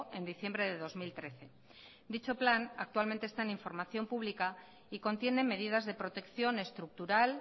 en diciembre de dos mil trece dicho plan actualmente está en información pública y contiene medidas de protección estructural